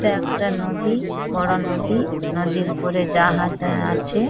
এটা একটা নদী বড় নদী নদীর উপরে জাহাজ আ-আছে।